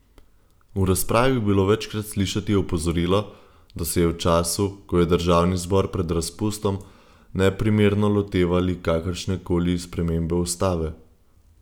V razpravi je bilo večkrat slišati opozorilo, da se je v času, ko je državni zbor pred razpustom, neprimerno lotevali kakršnekoli spremembe ustave.